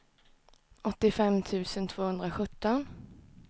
åttiofem tusen tvåhundrasjutton